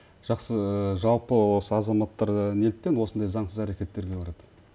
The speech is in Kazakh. жақсы жалпы осы азаматтар неліктен осындай заңсыз әрекеттерге барады